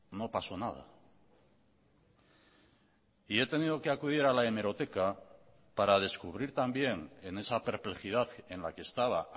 no pasó nada y he tenido que acudir a la hemeroteca para descubrir también en esa perplejidad en la que estaba